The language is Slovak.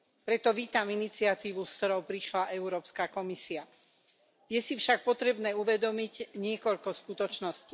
Preto vítam iniciatívu, s ktorou prišla Európska komisia. Je si však potrebné uvedomiť niekoľko skutočností.